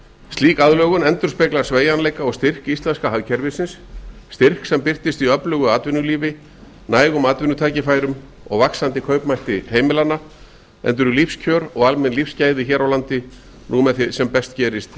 slík aðlögun endurspeglar sveigjanleika árs styrk íslenska hagkerfisins styrk sem birtist í öflugu atvinnulífi nægum atvinnutækifærum og vaxandi kaupmætti heimilanna enda eru lífskjör og almenn lífsgæði hér á landi nú með því sem best gerist í